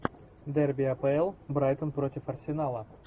дерби апл брайтон против арсенала